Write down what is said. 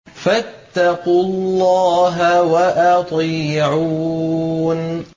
فَاتَّقُوا اللَّهَ وَأَطِيعُونِ